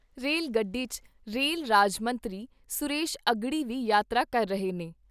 Rail ਗੱਡੀ 'ਚ rail ਰਾਜ ਮੰਤਰੀ ਸੁਰੇਸ਼ ਅਘੜੀ ਵੀ ਯਾਤਰਾ ਕਰ ਰਹੇ ਨੇ।